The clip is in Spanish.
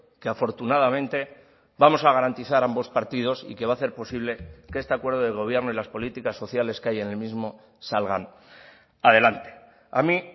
que afortunadamente vamos a garantizar ambos partidos y que va a hacer posible que este acuerdo de gobierno y las políticas sociales que hay en el mismo salgan adelante a mí